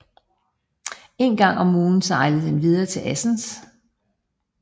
En gang om ugen sejlede den videre til Assens